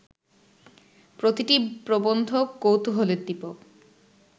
প্রতিটি প্রবন্ধ কৌতূহলোদ্দীপক